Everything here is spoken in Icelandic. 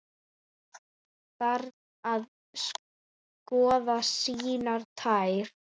Barn að skoða sínar tær.